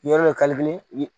Yɔrɔ